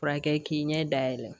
Furakɛ k'i ɲɛ da yɛlɛ